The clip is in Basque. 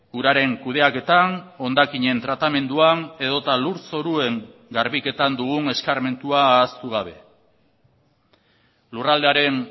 uraren kudeaketan hondakinen tratamenduan edota lur zoruen garbiketan dugun eskarmentua ahaztu gabe lurraldearen